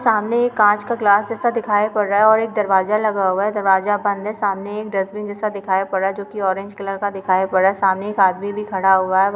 सामने एक कांच का गिलास जैसा दिखाई पड़ रहा है और एक दरवाजा लगा हुआ है। दरवाजा बंद है। सामने एक डस्टबिन जैसा दिखाई पड़ रहा है जो की ऑरेंज कलर का दिखाई पड़ रहा है। सामने एक आदमी भी खड़ा हुआ है ।